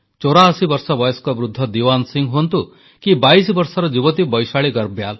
ଚୌରାଅଶୀ ବର୍ଷ ବୟସ୍କ ବୃଦ୍ଧ ଦିୱାନ ସିଂହ ହୁଅନ୍ତୁ କି ବାଇଶ ବର୍ଷର ଯୁବତୀ ବୈଶାଳୀ ଗର୍ବ୍ୟାଲ